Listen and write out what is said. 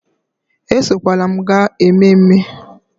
Esokwala m gaa ememme